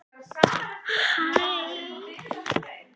Hallgeir, hvað heitir þú fullu nafni?